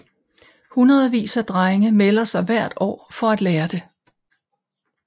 Hundredvis af drenge melder sig hver måned for at lære det